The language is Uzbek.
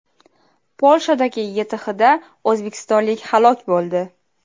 Polshadagi YTHda o‘zbekistonlik halok bo‘ldi.